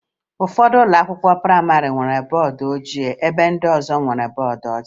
Ụfọdụ ụlọakwụkwọ prayịmarị nwere bọọdụ ojii ebe ndị ọzọ nwere bọọdụ ọcha